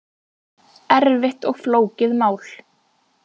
Erfitt og flókið mál